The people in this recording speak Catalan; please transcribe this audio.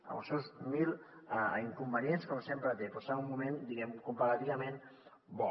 amb els seus mil inconvenients com sempre té però estem en un moment comparativament bo